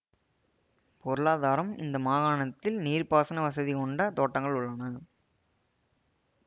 பொருளாதாரம் இந்த மாகாணத்தில் நீர்ப்பாசன வசதி கொண்ட தோட்டங்கள் உள்ளன